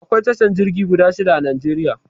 Akwai tashar jirgi guda shida a Najeriya.